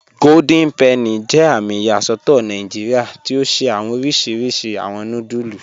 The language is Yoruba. Golden Penny jẹ àmì iyasọtọ Nàìjíríà tí o ṣẹ̀ awọn òrìṣirìṣì awọn núdùlù